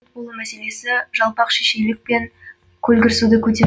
ұлт болу мәселесі жалпақшешейлік пен көлгірсуді көтер